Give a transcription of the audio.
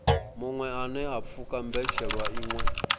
muṅwe anea pfuka mbetshelwa iṅwe